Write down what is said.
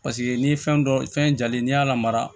Paseke n'i ye fɛn dɔ fɛn jalen n'i y'a lamara